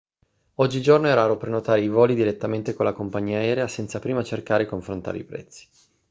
oggigiorno è raro prenotare i voli direttamente con la compagnia aerea senza prima cercare e confrontare i prezzi